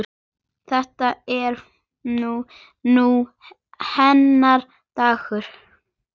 Þetta er nú hennar dagur.